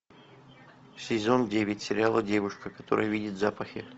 сезон девять сериала девушка которая видит запахи